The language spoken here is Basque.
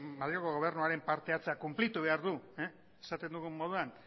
madrilgo gobernuaren parte hartzea konplitu behar du esaten dugun moduan